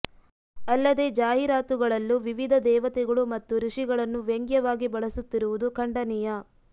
ಅಲ್ಲದೆ ಜಾಹೀರಾತುಗಳಲ್ಲೂ ವಿವಿಧ ದೇವತೆಗಳು ಮತ್ತು ಋಷಿಗಳನ್ನು ವ್ಯಂಗ್ಯವಾಗಿ ಬಳಸುತ್ತಿರುವುದು ಖಂಡನೀಯ